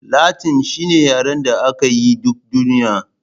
Latin shine yaren da aka yi yi duk duniya